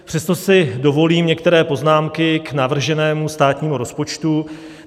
Přesto si dovolím některé poznámky k navrženému státnímu rozpočtu.